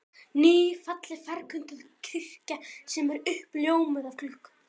Ný, falleg ferköntuð kirkja sem er uppljómuð af gluggum